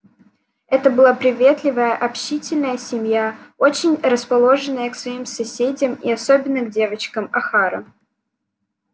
это была приветливая общительная семья очень расположенная к своим соседям и особенно к девочкам охара